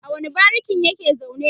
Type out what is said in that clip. a wani barikin yake zaune?